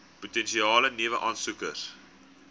potensiële nuwe aansoekers